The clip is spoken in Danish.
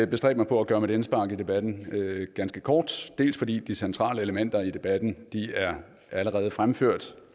bestræbe mig på at gøre mit indspark i debatten ganske kort dels fordi de centrale elementer i debatten allerede er fremført